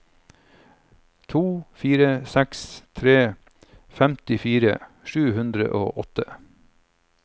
to fire seks tre femtifire sju hundre og åtte